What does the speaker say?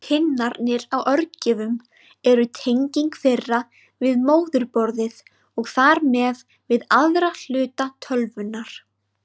Pinnarnir á örgjörvum eru tenging þeirra við móðurborðið og þar með við aðra hluta tölvunnar.